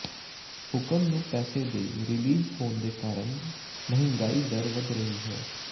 ਹੁਕਮ ਨੂੰ ਪੈਸੇ ਦੇ ਰਿਲੀਜ਼ ਹੋਣ ਦੇ ਕਾਰਨ ਮਹਿੰਗਾਈ ਦਰ ਵੱਧ ਗਈ ਹੈ